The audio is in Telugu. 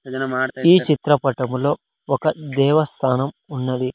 ఈ చిత్రపటంలో ఒక దేవస్థానం ఉన్నది.